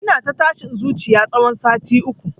Ina ta tashin zuciya tsawon sati uku